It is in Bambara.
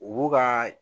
U b'u ka